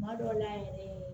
Kuma dɔw la yɛrɛ